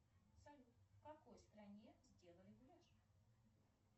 салют в какой стране сделали гуляш